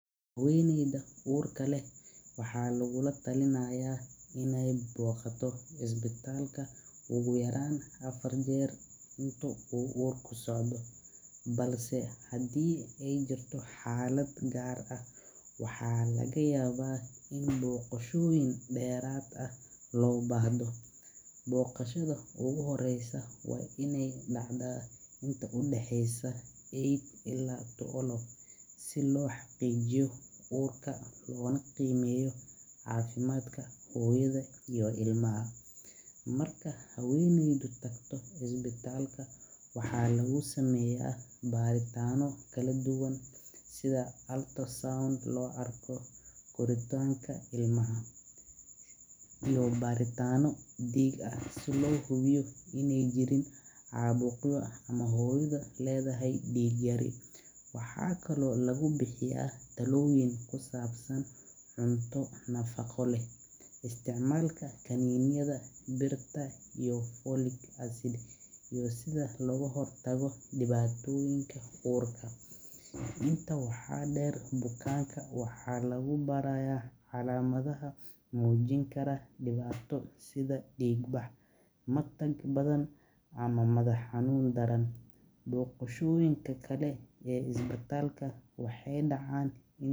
Habeneyda waxaa larabaa inaay boqoto isbitaalka ugu yaraan afar jeer, waxa laga yaaba kuwa deerad ah inaay dacdo, si loo xaqiijiyo uurka, marka aay tagto isbitaalka waxaa lagu sameeya bariyaan diiga ah, waxaa kale oo lagu bixiyaa talyin kusabsan cunto nafaqo, iyo sida looga hir ymtagi dibaatoyin uurka, waxeey dacaan inaay.